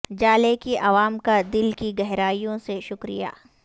جالے کی عوام کا دل کی گہرائیوں سے شکریہ